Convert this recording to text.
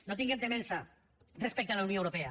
no tinguem temença respecte a la unió europea